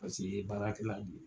Paseke i ye baarakɛla la de ye.